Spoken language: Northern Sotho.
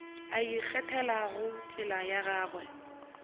a ikgethelago tsela ya gagwe